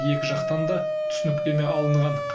екі жақтан да түсініктеме алынған